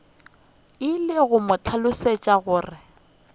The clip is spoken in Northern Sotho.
ile a mo hlalosetša gore